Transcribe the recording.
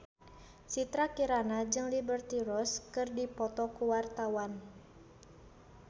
Citra Kirana jeung Liberty Ross keur dipoto ku wartawan